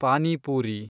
panipuri